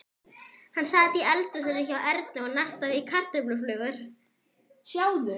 Hann sat í eldhúsinu hjá Erni og nartaði í kartöfluflögur.